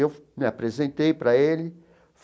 Eu me apresentei para ele.